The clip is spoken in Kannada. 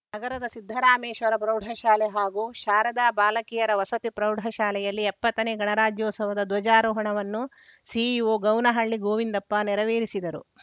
ನಗರದ ಸಿದ್ಧರಾಮೇಶ್ವರ ಪ್ರೌಢಶಾಲೆ ಹಾಗೂ ಶಾರದ ಬಾಲಕಿಯರ ವಸತಿ ಪ್ರೌಢಶಾಲೆಯಲ್ಲಿ ಎಪ್ಪತ್ತನೇ ಗಣರಾಜ್ಯೋತ್ಸವದ ಧ್ವಜಾರೋಹಣವನ್ನು ಸಿಇಒ ಗೌನಹಳ್ಳಿ ಗೋವಿಂದಪ್ಪ ನೆರವೇರಿಸಿದರು